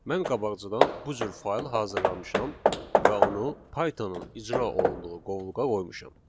Mən qabaqcadan bu cür fayl hazırlamışam və onu Python-ın icra olunduğu qovluğa qoymuşam.